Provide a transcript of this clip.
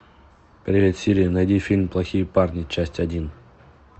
привет сири найди фильм плохие парни часть один